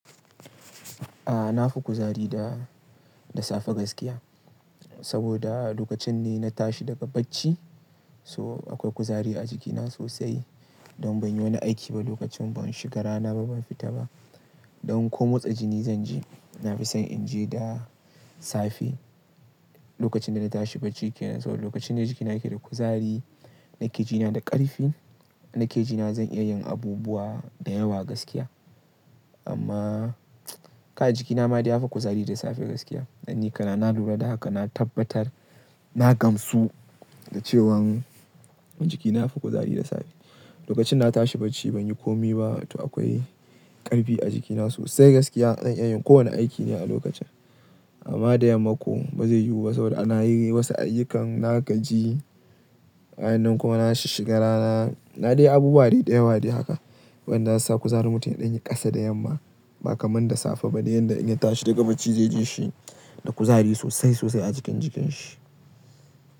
A na fi kuzari da, da safe gaskiya. Saboda lokacin ne na tashi daga bacci so akwai kuzari a jikina sosai. Don ban yi wani aiki ba lokacin, ban shiga rana ba, ban fita ba. Don komotsa jini zan ji na fi son in je da safe. Lokacin da na tashi bacci ke nan, so lokacin ne jikina yake da kuzari, nake ji na da ƙarfin, nake ji na zan iya yin abubuwa da yawa gaskiya. Amma kai jikina ma dai ya fi kuzari da safe gaskiya. Dan ni kana na lura da haka, na tabbatar, na gamsu da cewan jikina ya fi kuzari da safe. Lokacin na tashi bacci ban yi komi ba to akwai ƙarfi a jikina sosai gaskiya. Zan iya yin kowane aiki ne a lokacin. Amma da yamma ko ba zai yiwu ba saboda ana yi wasu ayyukan na ka ji. Bayanan kuma na shiga rana, na dai abubuwa dai dayawa dai haka. Wanda za su sa kuzari mutum yaɗin ya ƙasa da yamma ba kamar da safe ba. Ne yanda in ya tashi daga bacci zai ji shi da kuzari sosai sosai a jikin jikin shi.